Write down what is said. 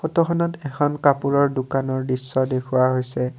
ফটোখনত এখন কাপোৰৰ দোকানৰ দৃশ্য দেখুওৱা হৈছে।